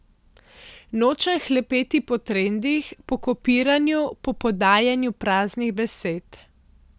Nočem hlepeti po trendih, po kopiranju, po podajanju praznih besed.